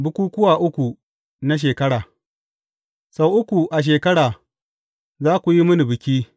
Bukukkuwa uku na shekara Sau uku a shekara za ku yi mini biki.